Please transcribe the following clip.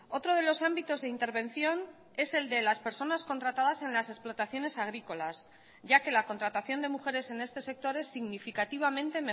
otro de los ámbitos de intervención es el de las personas contratadas en las explotaciones agrícolas ya que la contratación de mujeres en este sector es significativamente